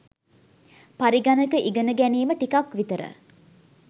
පරිගණක ඉගන ගැනීම ටිකක් විතර